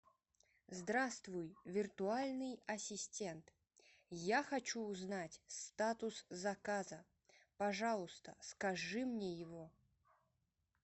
здравствуй виртуальный ассистент я хочу узнать статус заказа пожалуйста скажи мне его